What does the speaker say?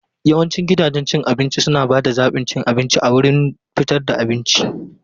Yawancin gidajen cin abinci suna ba da zaɓin cin abinci a wurin da fitar da abinci.